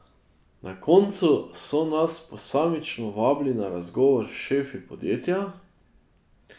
Na koncu so nas posamično vabili na razgovor s šefi podjetja.